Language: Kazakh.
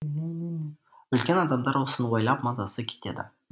үлкен адамдар осыны ойлап мазасы кетеді